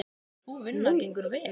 Sú vinna gengur vel.